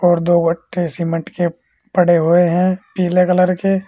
और दो वट्टे सीमेंट के पड़े हुए हैं पीले कलर के।